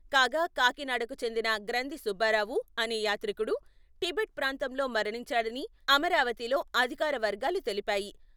కాగా, కాకినాడకు చెందిన గ్రంధి సుబ్బారావు అనే యాత్రికుడు టిబెట్ ప్రాంతంలో మరణించాడని, అమరావతిలో అధికారవర్గాలు తెలిపాయి.